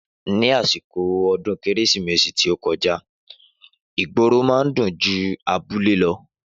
Ni àsìkò odún kérésìmesì tí ọ kọjá ìgboro man dùn jù abúlé lọ